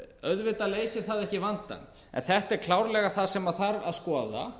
auðvitað leysir það ekki vandann en þetta er klárlega það sem þarf að skoða